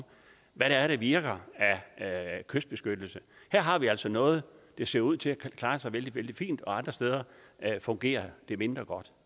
hvad det er der virker af kystbeskyttelse her har vi altså noget der ser ud til at kunne klare sig vældig vældig fint og andre steder fungerer det mindre godt